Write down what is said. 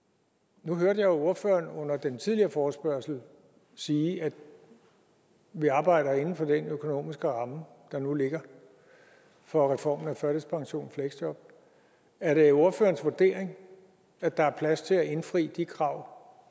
nu hørte jeg jo ordføreren under den tidligere forespørgsel sige at vi arbejder inden for den økonomiske ramme der nu ligger for reformen af førtidspension og fleksjob er det ordførerens vurdering at der er plads til at indfri de krav